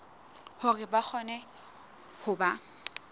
hore ba kgone ho ba